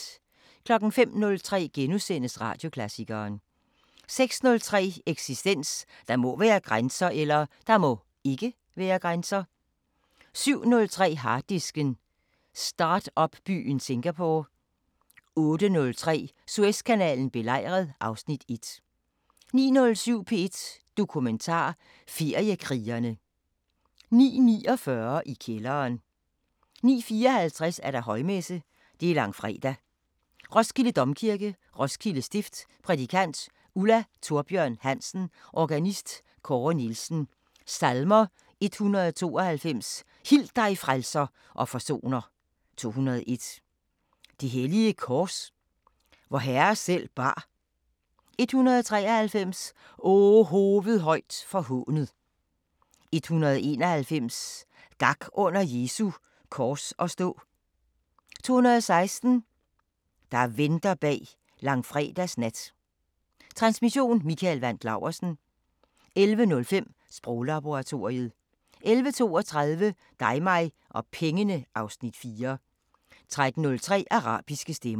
05:03: Radioklassikeren * 06:03: Eksistens: Der må (ikke) være grænser 07:03: Harddisken: Startup-byen Singapore 08:03: Suezkanalen belejret (Afs. 1) 09:07: P1 Dokumentar: Feriekrigerne 09:49: I kælderen 09:54: Højmesse - Langfredag, Roskilde Domkirke, Roskilde Stift Prædikant: Ulla Thorbjørn Hansen Organist: Kåre Nielsen Salmer: 192: Hil dig frelser og forsoner 201: Det hellige kors, vor Herre selv bar 193: O hoved højt forhånet 191: Gak under Jesu kors at stå 216: Der venter bag langfredags nat Transmission: Mikael Wandt Laursen. 11:05: Sproglaboratoriet 11:32: Dig mig og pengene (Afs. 4) 13:03: Arabiske Stemmer